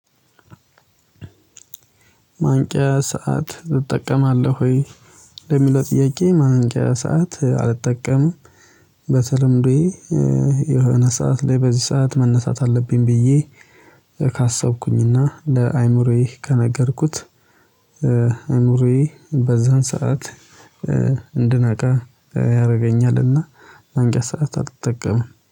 ማንቂያ ሰዓት ትጠቀማለህ ወይ? ለሚለው ጥያቄ ማንቂያ ሰዓት አልጠቀምም። በተለምዶዬ የሆነ ሰዓት ላይ በዚህ ሰዓት መነሳት አለብኝ ብዬ ካሰብኩኝና ለአእምሮዬ ከነገርኩት እይምሮየ በዛን ሰዓት። እንድነቃ ያስገኛል። እና ማንቂያ ሰዓት አልጠቀምም